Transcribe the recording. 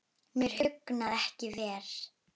Mér hugnast ekki veðrið.